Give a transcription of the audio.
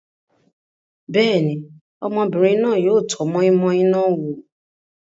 Bẹ́ẹ̀ ni, ọmọbìnrin náà yóò tọ́ moi-moi náà wò.